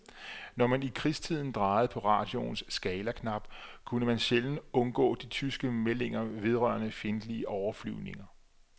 Når man i krigstiden drejede på radioens skalaknap, kunne man sjældent undgå de tyske meldinger vedrørende fjendtlige overflyvninger.